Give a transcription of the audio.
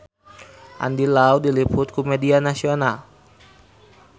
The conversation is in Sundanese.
Andy Lau diliput ku media nasional